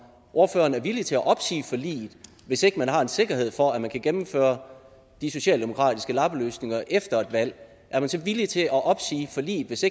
ordføreren er villig til at opsige forliget hvis ikke man har en sikkerhed for at man kan gennemføre de socialdemokratiske lappeløsninger efter et valg er man så villig til at opsige forliget hvis